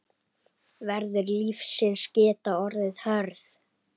Veður lífsins geta orðið hörð.